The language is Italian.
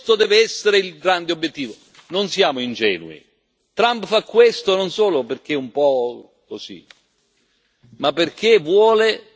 Trump fa questo non solo perché è un po' così, ma perché vuole ridurre i costi delle produzioni americane.